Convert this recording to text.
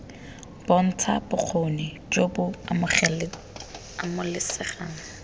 bontsha bokgoni jo bo amogelesegang